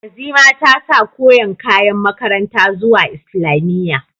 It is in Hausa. Azima ta sa koren kayan makaranta zuwa islamiyya.